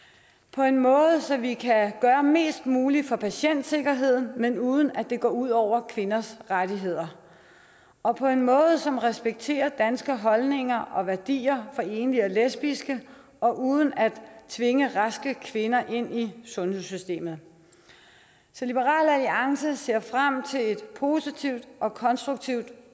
på en måde så vi kan gøre mest muligt for patientsikkerheden men uden at det går ud over kvinders rettigheder og på en måde som respekterer danske holdninger og værdier i til enlige og lesbiske uden at tvinge raske kvinder ind i sundhedssystemet så liberal alliance ser frem til et positivt og konstruktivt